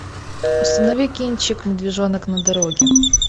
установи кинчик медвежонок на дороге